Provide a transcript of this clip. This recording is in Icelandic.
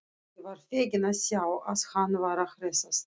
Ég var feginn að sjá að hann var að hressast!